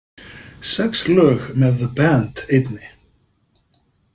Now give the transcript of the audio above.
Sex lög með The Band einni.